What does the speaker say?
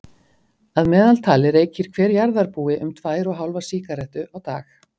Að meðaltali reykir hver jarðarbúi um tvær og hálfa sígarettu á dag.